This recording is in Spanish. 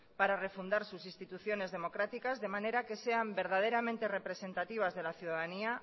para refundar sus instituciones democráticas de manera que sean verdaderamente representativas de la ciudadanía